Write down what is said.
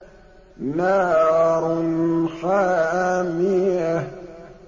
نَارٌ حَامِيَةٌ